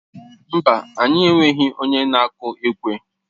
Mba, anyị enweghị onye na-akụ ekwe.